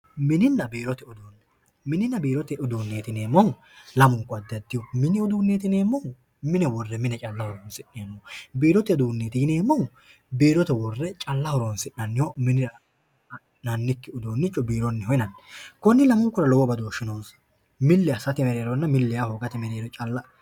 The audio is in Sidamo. Mininna biirote uduune, mininna biirote uduuneti yineemmohu lamunku addi addiho, mini uduuneti yineemmohu mine hoole mine calla horonsineemmoho ,biirote uduuneti yineemmohu biirote worre calla horonsi'nanniho minirano ha'ne ha'nannikkiha biirote uduunicho yinnanni, kuni lamunkura lowo badooshi noonsa, mili assatenna mili assa hoogate mereero calla.